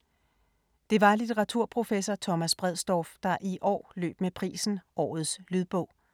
Det var litteraturprofessor Thomas Bredsdorff, der i år løb med prisen Årets lydbog.